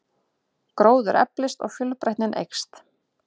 Gróður eflist og fjölbreytnin eykst.